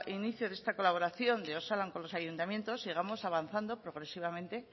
inicio de esta colaboración de osalan con los ayuntamientos sigamos avanzando progresivamente